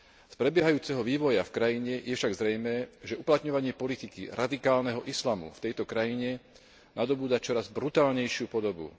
Z prebiehajúceho vývoja v krajine je však zrejmé, že uplatňovanie politiky radikálneho islamu v tejto krajine nadobúda čoraz brutálnejšiu podobu.